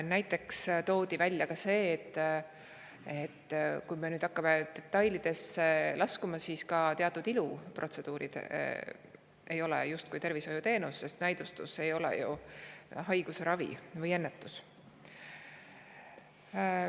Näiteks sellest, et kui laskuda detailidesse, siis ka teatud iluprotseduurid ei ole justkui tervishoiuteenus, sest nende näidustus ei ole ju haiguse ravi või ennetus.